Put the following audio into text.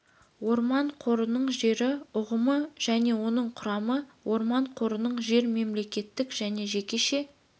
орман қорының жері ұғымы және оның құрамы орман қорының жер мемлекеттік және жекеше